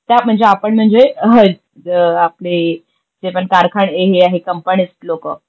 त्या म्हणजे आपण म्हणजे आपले जेपण कारखाने हे आहे कंपन्यात लोक